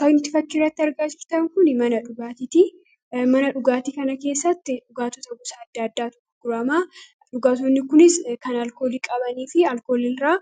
Kan fakkii kanarratti argaa jirtan kuni mana dhugaatiiti. Mana dhugaatii kana keessatti dhugaatota gosa adda addaatu gurgurama. Dhugaatonni kunis kan alkoolii qabanii fi alkooliirraa